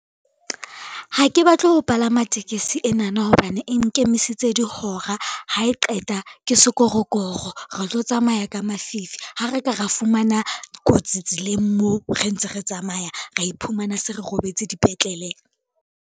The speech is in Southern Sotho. Ha ke batle ho palama tekesi enana hobane e nkemisitse dihora, ha e qeta ke sekorokoro re tlo tsamaya ka mafifi ha re ka ra fumana kotsi tseleng moo re ntse re tsamaya, ra iphumana se re robetse dipetlele.